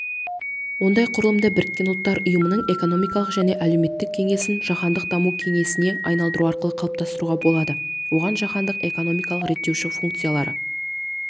ондай құрылымды біріккен ұлттар ұйымының экономикалық және әлеуметтік кеңесін жаһандық даму кеңесіне айналдыру арқылы қалыптастыруға болады оған жаһандық экономикалық реттеуші функциялары